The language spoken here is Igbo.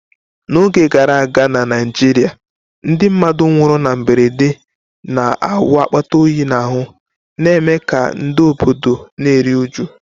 N’oge gara aga na Naijiria, ndị mmadụ nwụrụ na mberede na-awụ akpata oyi n’ahụ́, na-eme ka ndị obodo na-eru uju.